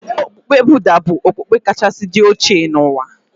Okpukpe Budha bụ okpukpe kachasị dị oche n'ụwa.